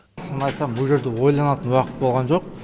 шынын айтсам ол жерде ойланатын уақыт болған жоқ